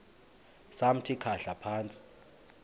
samthi khahla phantsi